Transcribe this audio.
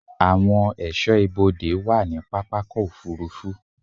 Àwọn ẹ̀ṣọ́ ibodè wà ní pápákọ̀-òfurufú.